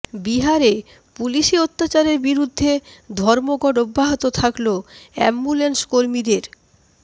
বিহারে পুলিশি অত্যাচারের বিরুদ্ধে ধর্মঘট অব্যাহত থাকল অ্যাম্বুলেন্স কর্মীদের